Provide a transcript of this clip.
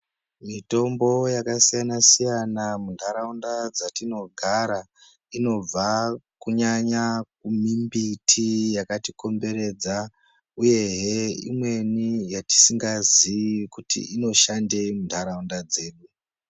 Mutombo yakasiyana siyana muntaraunda dzatinogara inobva kunyanya mumbiti yakatikombererdza uyehe imweni yatisingazii kuti inoshandei muntaraunda dzedu.